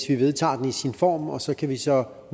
vi vedtager den i sin form og så kan vi så